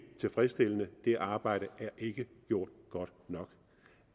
tilfredsstillende det arbejde er ikke gjort godt nok